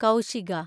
Kaushika